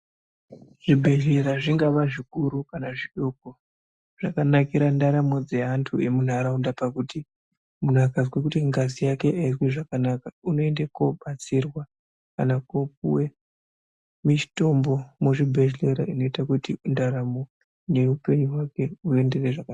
Zvibhedhlera zvingava zvikuru kana zvidoko , zvakanakira ndaramo dzeantu emuntaraunda pakuti muntu akazwe kuti ngazi yake aisi kuita zvakanaka unoenda kobatsirwa kana kopuwe mitombo muzvibhedhlera inoita kuti ndaramo yehupenyu hwake huenderere zvakanaka.